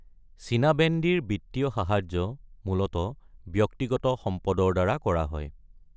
চীনা বেণ্ডীৰ বিত্তীয় সাহায্য মূলতঃ ব্যক্তিগত সম্পদৰ দ্বাৰা কৰা হয়।